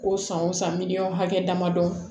Ko san o san miliyɔn hakɛ damadɔ